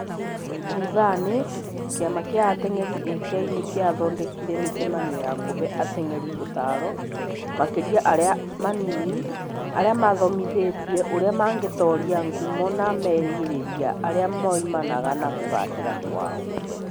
Thutha-inĩ, kĩama kĩa ateng'eri (AK) nĩ kĩathondekire mĩcemanio ya kũhe ateng'eri ũtaaro, makĩria arĩa anini, arĩa mathomithiruo ũrĩa mangĩtooria ngumo na merĩgĩrĩria arĩa moimanaga na kũgaacĩra kwao.